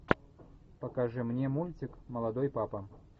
покажи мне мультик молодой папа